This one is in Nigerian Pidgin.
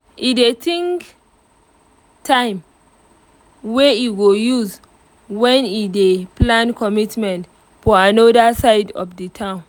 e dey think time wey e go use when e dey plan commitments for anoda side of the town